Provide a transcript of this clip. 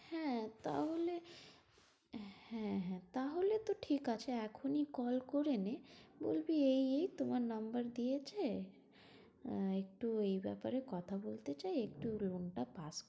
হ্যাঁ তাহলে, হ্যাঁ হ্যাঁ, তাহলে তো ঠিক আছে এখনি call করে নে বলবি এই এই তোমার number দিয়েছে, আহ একটু এই ব্যাপারে কথা বলতে চাই একটু room টা pass